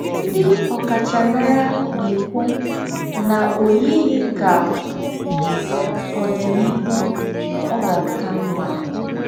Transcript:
Ndí́ ọ̀káchámárà nà-èkwú nà ò yìghí ká ódìníhù ọ̀ gà-àkà m̀mà.